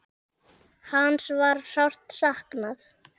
Hans var sárt saknað.